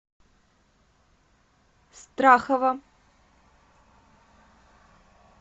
страхова